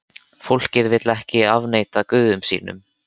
Fólkið vill ekki afneita guðum sínum.